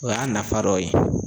O y'a nafa dɔ ye